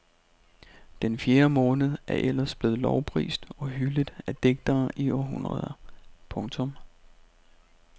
Den fjerde måned er ellers blevet lovprist og hyldet af digtere i århundreder. punktum